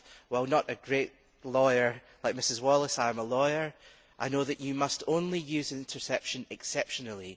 While not a great lawyer like Mrs Wallis, I am a lawyer, and I know that you must only use interception exceptionally.